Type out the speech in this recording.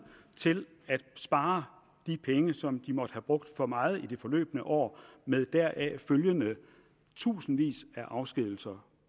til at spare de penge som de måtte have brugt for meget i det forløbne år med deraf følgende i tusindvis af afskedigelser